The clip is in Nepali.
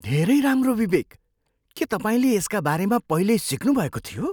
धेरै राम्रो विवेक! के तपाईँले यसका बारेमा पहिल्यै सिक्नुभएको थियो?